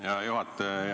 Hea juhataja!